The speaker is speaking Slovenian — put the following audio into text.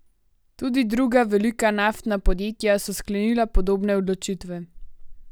Tudi druga velika naftna podjetja so sklenila podobne odločitve.